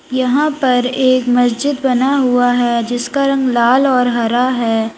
यहां पर एक मस्जिद बना हुआ है जिसका रंग लाल और हरा है।